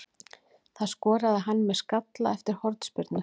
Það skoraði hann með skalla eftir hornspyrnu.